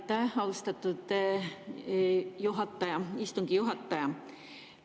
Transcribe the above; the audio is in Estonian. Aitäh, austatud istungi juhataja!